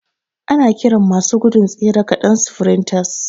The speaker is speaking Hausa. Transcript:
Ana kiran masu gudun tsere ƙaɗan sfrintas